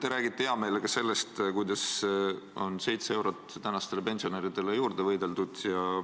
Te räägite heameelega sellest, kuidas on 7 eurot tänastele pensionäridele juurde võideldud.